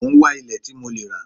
Mo ń wá ilẹ̀ tí mo lẹ́ rà